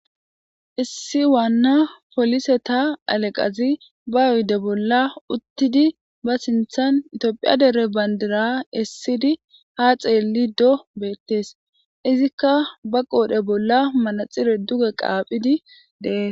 Issi waanna poliseta haleqazi ba oydde bolla uttidi ba sinththan Tophphiya dere bandira essidi ha xeelido beettees izikka ba qoodhe bolla manaxire duge qaaphidi de